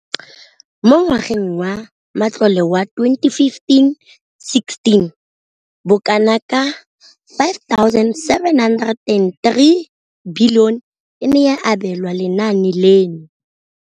Mo ngwageng wa matlole wa 2015,16, bokanaka R5 703 bilione e ne ya abelwa lenaane leno.